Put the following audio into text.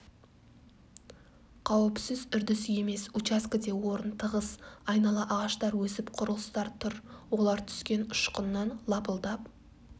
қауіпсіз үрдіс емес участкіде орын тығыз айнала ағаштар өсіп құрылыстар тұр олар түскен ұшқыннан лапылдап